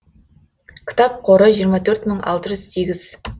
кітап қоры жиырма төрт мың алты жүз сегіз